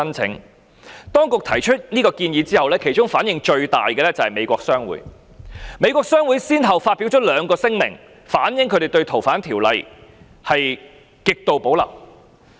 政府當局提出修訂建議後，反應最大的是美國商會，美國商會先後發表兩項聲明，反映他們對該條例的修訂有極度保留。